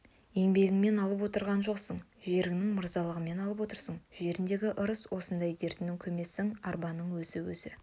еңбегіңмен алып отырған жоқсың жеріңнің мырзалығымен алып отырсың жеріндегі ырыс сондай дертені көмсең арбаның өзі өзі